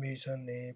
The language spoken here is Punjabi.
ਮਿਸ਼ਨ ਨੇ